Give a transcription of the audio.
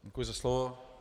Děkuji za slovo.